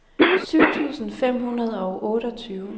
syv tusind fem hundrede og otteogtyve